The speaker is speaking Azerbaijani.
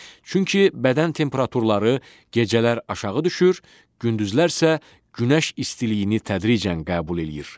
Çünki bədən temperaturları gecələr aşağı düşür, gündüzlər isə günəş istiliyini tədricən qəbul eləyir.